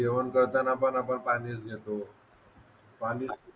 जेवण करताना पण आपण पाणीच घेतो